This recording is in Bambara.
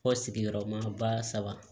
Fɔ sigiyɔrɔma ba saba